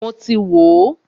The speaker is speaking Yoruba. Mọ ti wò ó.